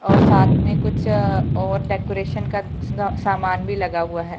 और साथ में कुछ और डेकोरेशन का सामान भी लगा हुआ है।